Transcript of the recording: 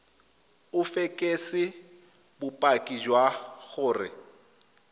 o fekese bopaki jwa gore